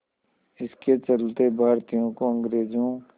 इसके चलते भारतीयों को अंग्रेज़ों